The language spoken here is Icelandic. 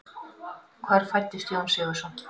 Hvar fæddist Jón Sigurðsson?